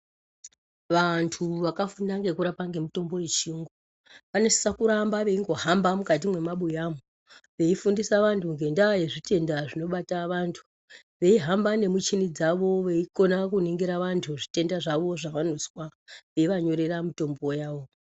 Vantu vakafunda nekurapa mitombo yechirungu vanosisa kuramba veingohamba mukati memabuyamo veifundisa vantu ngenyaya yematenda dzinobata vantu veihamba nemuchini dzawo veikona kuningira vantu zvitenda zvavo zvavanozwa veivanyorera mitombo dzawo.